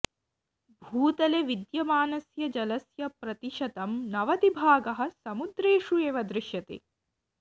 भूतले विद्यमानस्य जलस्य प्रतिशतं नवतिभागः समुद्रेषु एव दृश्यते